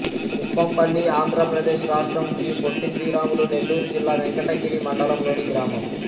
కుప్పంపల్లి ఆంధ్ర ప్రదేశ్ రాష్ట్రం శ్రీ పొట్టి శ్రీరాములు నెల్లూరు జిల్లా వెంకటగిరి మండలం లోని గ్రామం